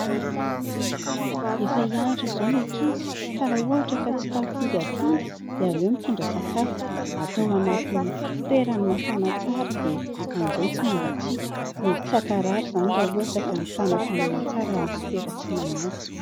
Efa hianatra izao ny ankizy ka raha ohatra ka tsy tafody atoandro dia aleo mitondra sakafo, atao anaty fitoerany mafana tsara dia amin'izay tsy mangatsiaka, mety tsy hankarary izany raha ohatra ka mitana hafanana tsara ny sopera asina anazy.